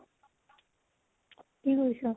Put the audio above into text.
কি কৰিছ ?